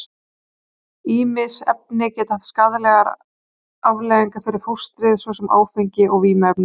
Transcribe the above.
Ýmis efni geta haft skaðlegar afleiðingar fyrir fóstrið, svo sem áfengi og vímuefni.